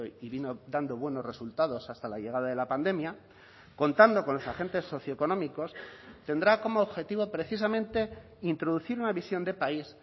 y vino dando buenos resultados hasta la llegada de la pandemia contando con los agentes socio económicos tendrá como objetivo precisamente introducir una visión de país